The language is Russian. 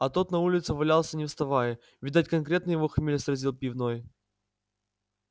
а тот на улице валялся не вставая видать конкретно его хмель сразил пивной